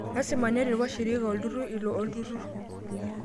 Lasima neret washirika lolturrur ilo olturrur